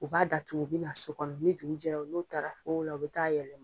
O b'a da tugu o be na so kɔnɔ ni dugu jɛra n'o taara kogo la o be taa yɛlɛma